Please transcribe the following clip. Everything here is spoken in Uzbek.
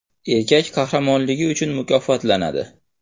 Erkak qahramonligi uchun mukofotlanadi.